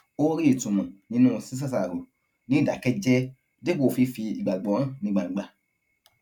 ó rí ìtumò nínú ṣíṣàṣàrò ní ìdákéjéé dípò fífi ìgbàgbó hàn ní gbangba